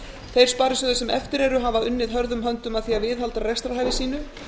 þeir sparisjóðir sem eftir eru hafa unnið hörðum höndum að því að viðhalda rekstrarhæfi sínu